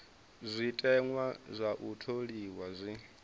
zwiteṅwa zwa u tholiwa zwi